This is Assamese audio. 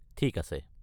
ঠিক আছে।